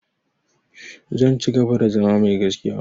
Zan cigaba da zama mai gaskiya.